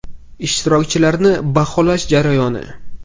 Ishtirokchilarni baholash jarayoni.